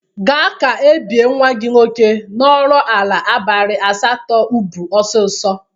Ga ka ebi nwa gị nwoke norola abalị asatọ ubu osisio!